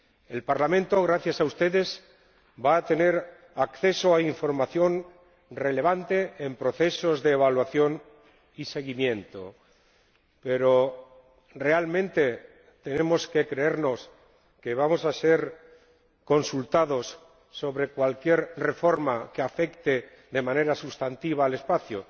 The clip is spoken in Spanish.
El Parlamento, gracias a ustedes, va a tener acceso a información relevante en procesos de evaluación y seguimiento, pero ¿realmente tenemos que creernos que vamos a ser consultados sobre cualquier reforma que afecte de manera sustantiva al espacio